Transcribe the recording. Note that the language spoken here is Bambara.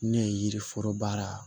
Ne ye yiri foro baara